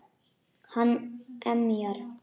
Hann emjar.